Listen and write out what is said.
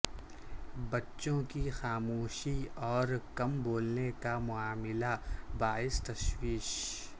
بچوں کی خاموشی اور کم بولنے کا معاملہ باعث تشویش